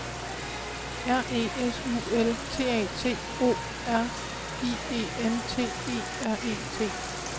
R E S U L T A T O R I E N T E R E T